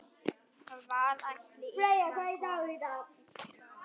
Hvað ætli Ísland komist langt?